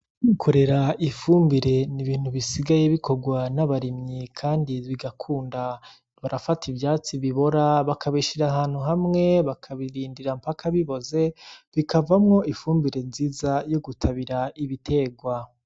Kwikorera ifumbire n'ibintu bisigaye bikorwa n'abarimyi kandi bigakunda, barafata ivyatsi bibora bakabishira ahantu hamwe bakabirindira mpaka biboze bikavamwo ifumbire nziza yo gutabira ibitegwa.